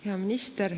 Hea minister!